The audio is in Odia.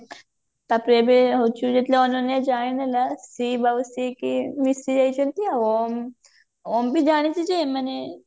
ତାପରେ ଏବେ ଯେତେବେଳେ ଅନନ୍ୟା ଜାଣିନେଲା ଶିଭ ଆଉ ସିଏ କିଏ ମିସିଯାଇଛନ୍ତି ଆଉ ଓମ ଓମ ବି ଜାଣିଛି ଯେ ମାନେ